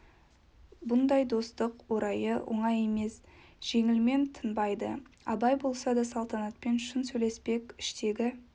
бұндай достық орайы оңай емес жеңілмен тынбайды абай болса да салтанатпен шын сөйлеспек іштегі